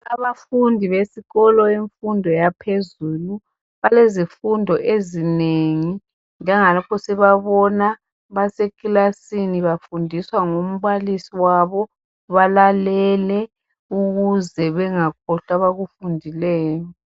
Abafundi besikolo semfundo yaphezulu, balezifundo ezinengi njengalokho sibabona basekilasini bafundiswa ngumbalisi wabo. Balalele ukuze bengakhohlwa abakufundileyo.